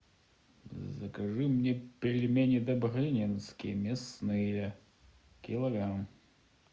закажи мне пельмени добрынинские мясные килограмм